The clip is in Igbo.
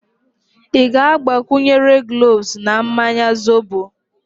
Ị gbakwunyere gloves na mmanya zobo?